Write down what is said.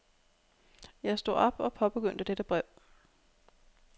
Jeg stod op og påbegyndte dette brev.